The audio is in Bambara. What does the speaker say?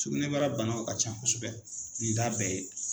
Sugnɛbara banaw ka ca kosɛbɛ nin t'a bɛɛ ye